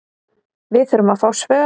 Við þurfum að fá svör